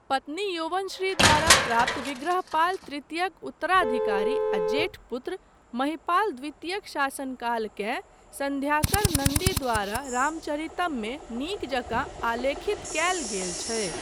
पत्नी यौवनश्री द्वारा प्राप्त विघ्रहपाल तृतीयक उत्तराधिकारी आ जेठ पुत्र, महिपाल द्वितीयक शासनकालकेँ सन्ध्याकर नन्दी द्वारा रामचरितममे नीक जकाँ आलेखित कयल गेल छै।